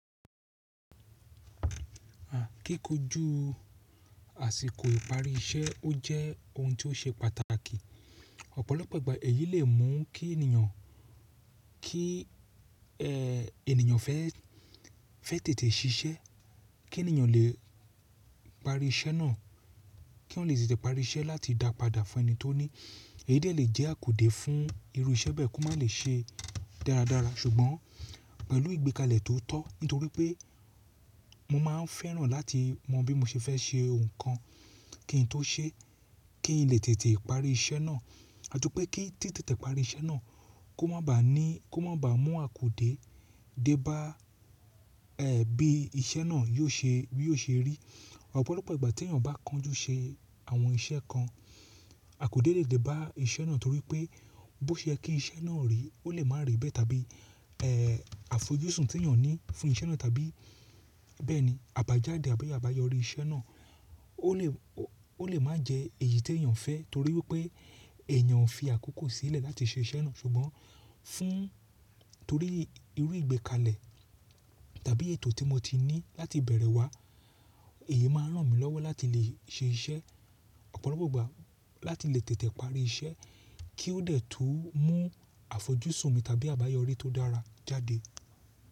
À, kíkójú àsìkò iparí iṣẹ́ ó jẹ́ ohun tí ó ṣe pàtàkì. Ọ̀pọ̀lọpọ̀ ìgbà èyí lè mú kí ènìyàn, kí e ènìyàn fẹ́, fẹ́ tètè ṣiṣẹ́, kí ènìyàn lè parí iṣẹ́ náà, kí wọ́n lè tètè parí iṣẹ́ láti dá padà fún ẹni tó ní. Èyí dẹ̀ lè jẹ́ àkudé fún irú iṣẹ́ bẹ́ẹ̀ kò má lè ṣe dáradára ṣùgbọ́n pẹ̀lú ìgbékalẹ̀ tó tọ́. Nítorí pé mo máa ń fẹ́ràn láti mọ bí mo ṣe fẹ́ ṣe ohun kan kí n tó ṣe, kí n lè tètè parí iṣẹ́ náà àtipẹ́ kí tí tètè parí iṣẹ́ náà kó má bà á ní, kó má bà mú àkudé dé bá, e bí iṣẹ́ náà yó ṣe, yó ṣe rí. Ọ̀pọ̀lọpọ̀ ìgbà tí èeyàn bá kánjú ṣe àwọn iṣẹ́ kan àkudé lè dé bá iṣẹ́ náà torí pé bó ṣe kí iṣẹ́ náà rí ó lè má rí bẹ́ẹ̀ tàbí, e àfojúsùn tí ènìyàn ní fún iṣẹ́ náà tàbí bẹ́ẹ̀ni àbájáde àbí àbáyọrí iṣẹ́ náà ó lè, ó lè má jẹ èyí tí èeyàn fẹ́ torí pé èeyàn ò fi àkókò sílẹ̀ láti ṣe iṣẹ́ náà ṣùgbọ́n fún torí irú ìgbékalẹ̀ tàbí ètò tí mo ti ní láti bẹ̀rẹ̀ wa èyí máa ń ràn mí lọ́wọ́ láti lè ṣe iṣẹ́ ọ̀pọ̀lọpọ̀ ìgbà láti lè tètè parí iṣẹ́ kí ó de tó mú àfojúsùn mi tàbí àbáyọrí tó dára jáde.